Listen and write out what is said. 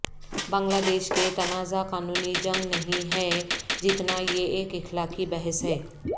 بنگلہ دیش کے تنازعہ قانونی جنگ نہیں ہے جتنا یہ ایک اخلاقی بحث ہے